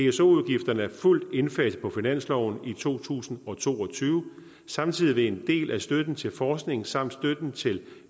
pso udgifterne er fuldt indfaset på finansloven i to tusind og to og tyve samtidig vil en del af støtten til forskning samt støtten til